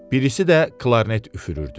Birisi də klarnet üfürürdü.